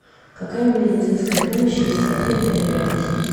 какая медицинская помощь есть в отеле или рядом с ним